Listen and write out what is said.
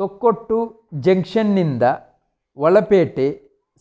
Thokkottu junction ನಿಂದ ಒಳಪೇಟೆ